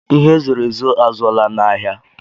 Ihe e zoro ezo a zụọla n'ahịa.